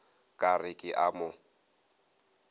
ka re ke a mo